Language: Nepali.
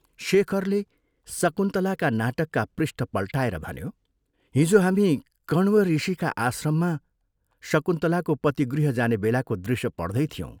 शेखरले शकुन्तलाका नाटकका पृष्ठ पल्टाएर भन्यो, "हिजो हामी कण्व ऋषिका आश्रममा शकुन्तलाको पतिगृह जाने बेलाको दृश्य पढ्दै थियौँ।